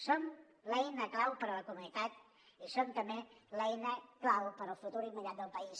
som l’eina clau per a la comunitat i som també l’eina clau per al futur immediat del país